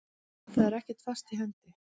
Það er ekkert fast í hendi.